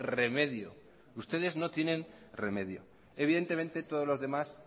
remedio ustedes no tienen remedio evidentemente todos los demás